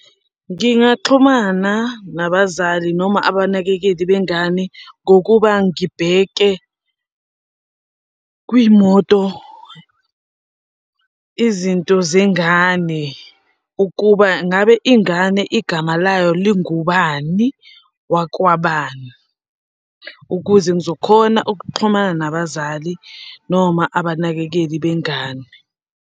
Ngingaxhumana nabazali noma abanakekeli bengane ngokuba ngibheke kwimoto izinto zengane ukuba ngabe ingane igama layo lingubani wakwabani, ukuze ngizokhona ukuxhumana nabazali noma abanakekeli bengane.